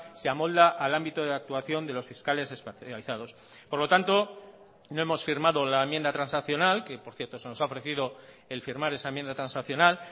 se amolda al ámbito de actuación de los fiscales especializados por lo tanto no hemos firmado la enmienda transaccional que por cierto se nos ha ofrecido el firmar esa enmienda transaccional